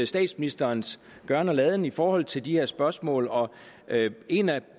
statsministerens gøren og laden i forhold til de her spørgsmål og en af